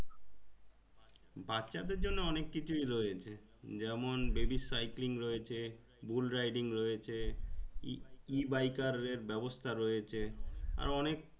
বাচ্চা দেড় জন্যে অনেক কিছুই রয়েছে যেমন baby cycling রয়েছে bull-riding রয়েছে Ebiker এর ব্যাবস্থা রয়েছে আরও অনেক